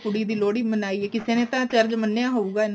ਕੁੜੀ ਦੀ ਲੋਹੜੀ ਮਨਾਈ ਹੈ ਕਿਸੇ ਨਾ ਤਾਂ ਚਰਜ ਮੰਨਿਆ ਹੋਏਗਾ